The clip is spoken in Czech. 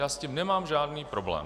Já s tím nemám žádný problém.